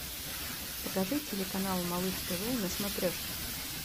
покажи телеканал малыш тв на смотрешке